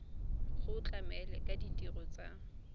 go tlamela ka ditirelo tsa